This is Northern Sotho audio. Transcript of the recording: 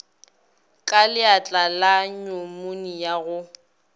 ka leatla le nyumonia go